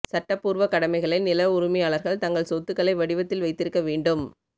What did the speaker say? சட்டப்பூர்வ கடமைகளை நில உரிமையாளர்கள் தங்கள் சொத்துக்களை வடிவத்தில் வைத்திருக்க வேண்டும்